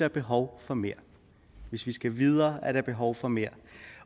er behov for mere hvis vi skal videre er der behov for mere